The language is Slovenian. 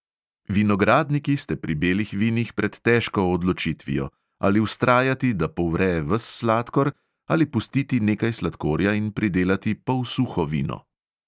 Vinogradniki ste pri belih vinih pred težko odločitvijo, ali vztrajati, da povre ves sladkor, ali pustiti nekaj sladkorja in pridelati polsuho vino.